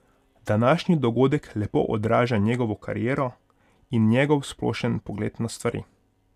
Današnji dogodek lepo odraža njegovo kariero in njegov splošen pogled na stvari.